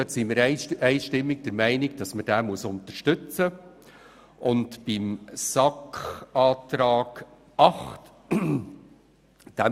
Wir sind einstimmig der Meinung, diese Planungserklärung müsse unterstützt werden.